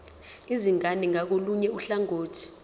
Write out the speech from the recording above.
izingane ngakolunye uhlangothi